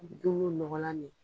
nɔgɔnlan me yen